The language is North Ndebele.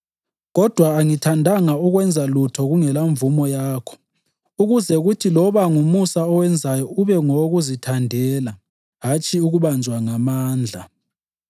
Kodwa angithandanga ukwenza lutho kungelamvumo yakho ukuze kuthi loba ngumusa owenzayo ube ngowokuzithandela hatshi ukubanjwa ngamandla.